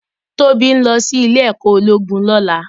Tobi n lò si Ilè èkò ólógún lòlá